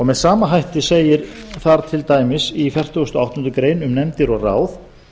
með sama hætti segir þar til dæmis í fertugustu og áttundu greinar um nefndir og ráð